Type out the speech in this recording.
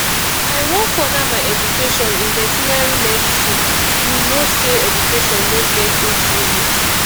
i wan further my education in vertinary medicine you no say education no get age limit